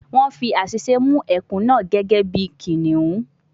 Wọ́n fi àṣìṣe mú ẹkùn náà gẹ́gẹ́ bí kìnnìún